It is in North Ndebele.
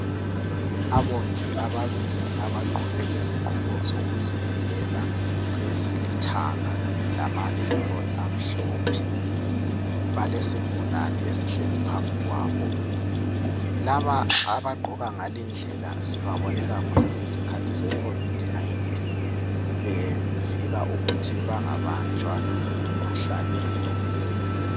Abongi ababili abagqoke izigqoko zokuzivikela ezilithanga lama Apron amhlophe balesigulani esihlezi phambi kwabo laba abagqoka ngale indlela sibabone kakhulu ngesikhathi seCovid 19 bevika ukuthi bengabanjwa ngumkhuhlane lo.